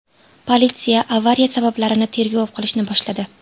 Politsiya avariya sabablarini tergov qilishni boshladi.